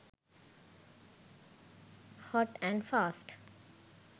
hot and fast